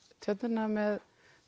tjörnina með